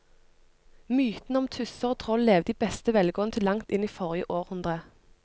Mytene om tusser og troll levde i beste velgående til langt inn i forrige århundre.